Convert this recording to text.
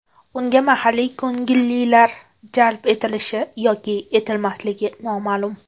Unga mahalliy ko‘ngillilar jalb etilishi yoki etilmasligi noma’lum.